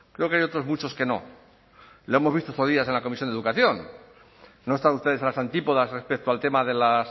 creo que hay otros muchos que no lo hemos visto estos días en la comisión de educación no estaba usted en las antípodas respecto al tema de